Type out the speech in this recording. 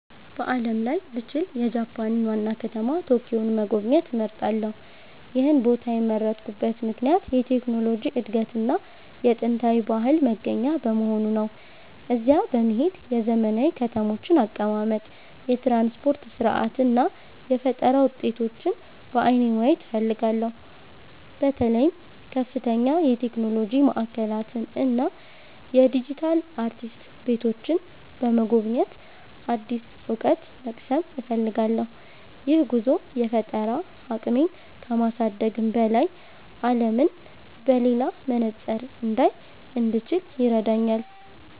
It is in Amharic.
በዓለም ላይ ብችል፣ የጃፓንን ዋና ከተማ ቶኪዮን መጎብኘት እመርጣለሁ። ይህን ቦታ የመረጥኩበት ምክንያት የቴክኖሎጂ እድገትና የጥንታዊ ባህል መገናኛ በመሆኑ ነው። እዚያ በመሄድ የዘመናዊ ከተሞችን አቀማመጥ፣ የትራንስፖርት ሥርዓት እና የፈጠራ ውጤቶችን በዓይኔ ማየት እፈልጋለሁ። በተለይም ከፍተኛ የቴክኖሎጂ ማዕከላትን እና የዲጂታል አርቲስት ቤቶችን በመጎብኘት አዲስ እውቀት መቅሰም እፈልጋለሁ። ይህ ጉዞ የፈጠራ አቅሜን ከማሳደግም በላይ፣ አለምን በሌላ መነጽር እንዳይ እንድችል ይረዳኛል።